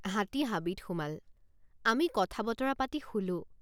হাতী হাবিত সোমাল। আমি কথা বতৰা পাতি শুলোঁ।